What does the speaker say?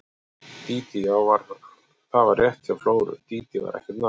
Dídí, já, það var rétt hjá Flóru, Dídí var ekkert nafn.